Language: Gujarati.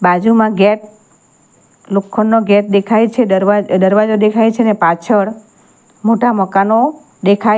બાજુમાં ગેટ લોખંડનો ગેટ દેખાય છે દરવા દરવાજો દેખાય છે ને પાછળ મોટા મકાનો દેખાય --